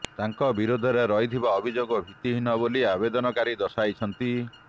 ତାଙ୍କ ବିରୋଧରେ ରହିଥିବା ଅଭିଯୋଗ ଭିତ୍ତିହୀନ ବୋଲି ଆବେଦନକାରୀ ଦର୍ଶାଇଛନ୍ତି